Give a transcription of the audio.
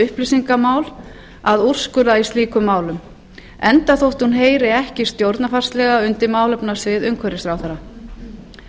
upplýsingamál að úrskurða í slíkum málum enda þótt hún heyri ekki stjórnarfarslega undir málefnasvið umhverfisráðherra